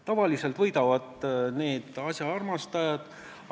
Tavaliselt võidavad asjaarmastajad.